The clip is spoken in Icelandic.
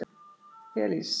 Elís